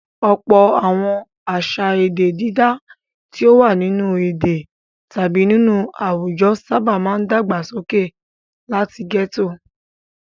Ọ̀pọ̀ àwọn àṣà èdè dídá tí ó wà nínú èdè tàbí nínú àwùjọ sábà máa dàgbàsókè láti gẹ́tò.